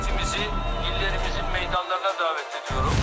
Millətimizi, illərimizin meydanlarına dəvət edirəm.